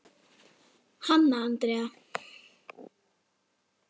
Hanna Andrea.